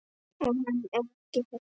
Og hann er ekki hættur.